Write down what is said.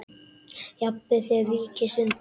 Jafnvel þér víkist undan!